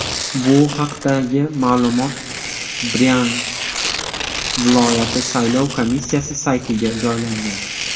Bu haqdagi ma’lumot Bryansk viloyati saylov komissiyasi saytiga joylangan .